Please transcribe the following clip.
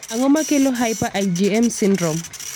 Ang'o makelo hyper IgM syndrome?